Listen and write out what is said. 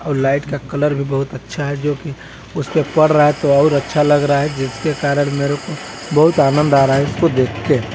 आउ light colour भी बोहत अच्छा है जोकि उस पे पर रहा है तो और अच्छा लग रहा है जिसके कारण मेरे को बोहत आनंद आ रहा है इसको देख के --